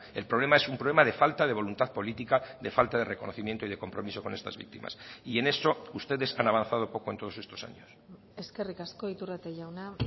el problema es un problema de falta de voluntad política de falta de reconocimiento y de compromiso con estas víctimas y en eso ustedes han avanzado poco en todos estos años eskerrik asko iturrate jauna